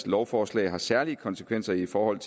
lovforslag har særlige konsekvenser i forhold